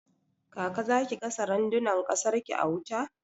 Kaka zaki gasa randunan kasar ki a wuta?